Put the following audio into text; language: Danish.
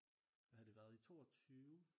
Hvad har det været i 22